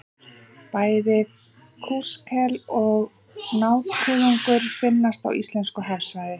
Bæði kúskel og nákuðungur finnast á íslensku hafsvæði.